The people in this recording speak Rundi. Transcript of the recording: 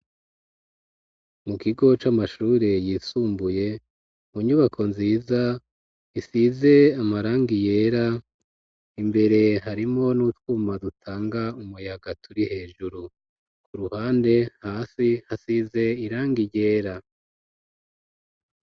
Mu kigo c'amashure yisumbuye mu nyubako nziza isize amaranga iyera imbere harimo n'utwuma dutanga umuyaga turi hejuru ku ruhande hasi hasize iranga iyera.